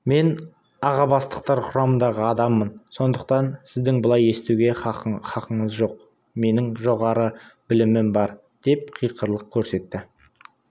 мен аға бастықтар құрамындағы адаммын сондықтан сіздің былай істеуге хақыңыз жоқ менің жоғары білімім бар деп қиқарлық көрсетті